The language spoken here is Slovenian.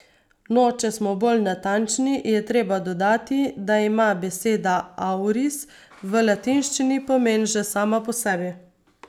No, če smo bolj natančni, je treba dodati, da ima beseda auris v latinščini pomen že sama po sebi.